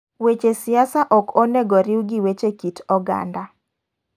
Weche siasa ok onego riw gi weche kit oganda